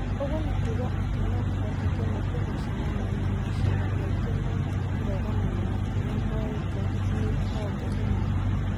Ũguo nĩ kuuga atĩ no kũhoteke nĩ tũgũcemania na maciira maingĩ ma kũregana na makinya moĩtwo nĩ honge imwe.